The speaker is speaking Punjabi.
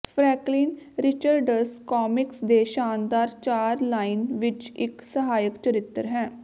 ਫਰੈਂਕਲਿਨ ਰਿਚਰਡਸ ਕਾਮਿਕਸ ਦੇ ਸ਼ਾਨਦਾਰ ਚਾਰ ਲਾਈਨ ਵਿੱਚ ਇੱਕ ਸਹਾਇਕ ਚਰਿੱਤਰ ਹੈ